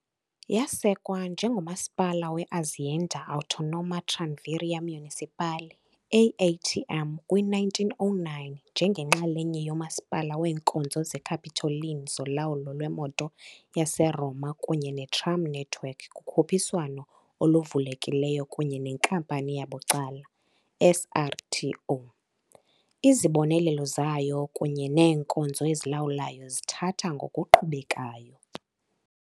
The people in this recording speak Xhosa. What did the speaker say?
Yasekwa njengomasipala we-Azienda Autonoma Tranviaria Municipale AATM kwi-1909 njengenxalenye yomasipala weenkonzo zeCapitoline zolawulo lwemoto yaseRoma kunye netram network kukhuphiswano oluvulekileyo kunye nenkampani yabucala SRTO, izibonelelo zayo kunye neenkonzo ezilawulwayo zithatha ngokuqhubekayo.